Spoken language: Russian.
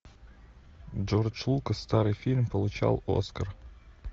джордж лукас старый фильм получал оскар